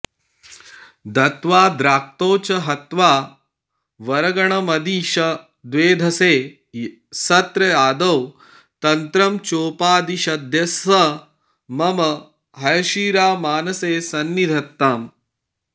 दत्त्वा द्राक्तौ च हत्वा वरगणमदिशद्वेधसे सत्र आदौ तन्त्रं चोपादिशद्यस्स मम हयशिरा मानसे सन्निधत्ताम्